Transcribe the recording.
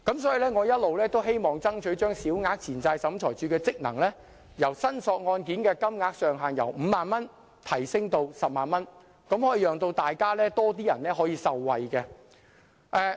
所以我一直希望爭取把小額錢債審裁處處理的申索金額上限由5萬元提升至10萬元，讓多一些人受惠。